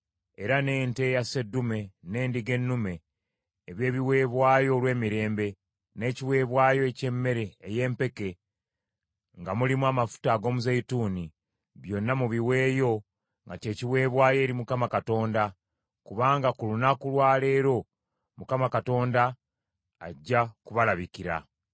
era n’ente eya sseddume n’endiga ennume eby’ebiweebwayo olw’emirembe, n’ekiweebwayo eky’emmere ey’empeke nga mulimu amafuta ag’omuzeeyituuni, byonna mubiweeyo nga kye kiweebwayo eri Mukama Katonda; kubanga ku lunaku lwa leero Mukama Katonda ajja kubalabikira.’ ”